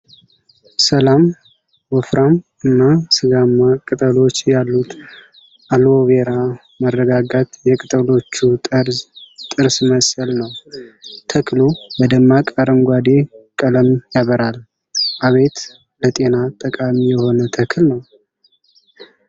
ሰላም! ወፍራም እና ሥጋማ ቅጠሎች ያሉት አልዎ ቬራ። መረጋጋት። የቅጠሎቹ ጠርዝ ጥርስ መሰል ነው። ተክሉ በደማቅ አረንጓዴ ቀለም ያበራል። አቤት! ለጤና ጠቃሚ የሆነ ተክል ነው።